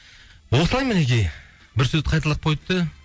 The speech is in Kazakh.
осылай мінекей бір сөзді қайталап койды да